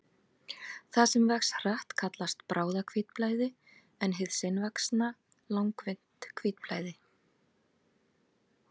Það sem vex hratt kallast bráðahvítblæði en hið seinvaxna langvinnt hvítblæði.